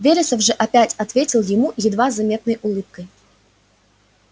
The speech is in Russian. вересов же опять ответил ему едва заметной улыбкой